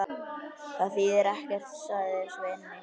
Það þýðir ekkert, sagði Svenni.